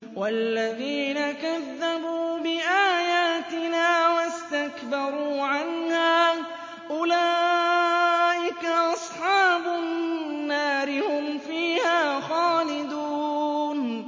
وَالَّذِينَ كَذَّبُوا بِآيَاتِنَا وَاسْتَكْبَرُوا عَنْهَا أُولَٰئِكَ أَصْحَابُ النَّارِ ۖ هُمْ فِيهَا خَالِدُونَ